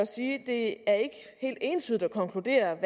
sige at entydigt at konkludere